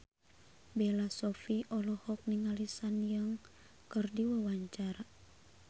Bella Shofie olohok ningali Sun Yang keur diwawancara